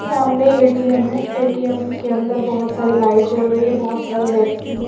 सामने ए_टी_एम है ए_टी_एम के अंदर बहुत सारी लाइट जल रही है बहुत सारे व्यक्ति है।